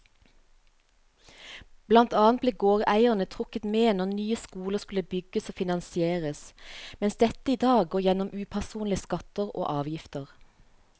Blant annet ble gårdeierne trukket med når nye skoler skulle bygges og finansieres, mens dette i dag går gjennom upersonlige skatter og avgifter.